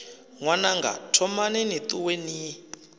ṅwananga thomani ni ṱuwe ni